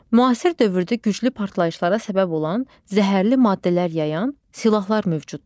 Müasir dövrdə güclü partlayışlara səbəb olan, zəhərli maddələr yayan silahlar mövcuddur.